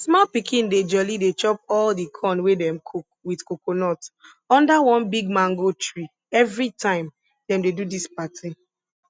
small pikin dey jolly dey chop all di corn wey dem cook with coconut under one big mango tree everytime dem dey do dis party